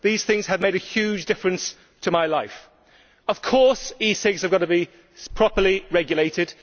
These things have made a huge difference to my life'. Of course, e cigarettes have got to be properly regulated.